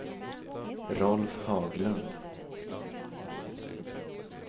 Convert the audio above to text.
Rolf Haglund